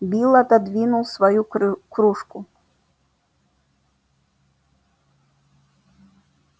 билл отодвинул свою крю кружку